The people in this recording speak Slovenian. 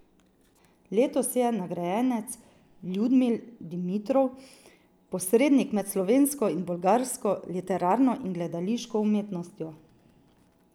Letos je nagrajenec Ljudmil Dimitrov, posrednik med slovensko in bolgarsko literarno in gledališko umetnostjo.